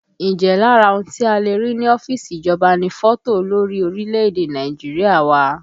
Ǹjẹ́ lára ohun tí a le rí ní ọ́fíìsì ìjọba ni fọ́tò olórí orílẹ̀èdè Nàìjíríà wà?